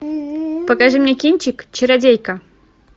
покажи мне кинчик чародейка